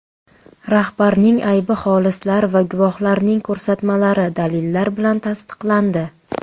Rahbarning aybi xolislar va guvohlarning ko‘rsatmalari, dalillar bilan tasdiqlandi.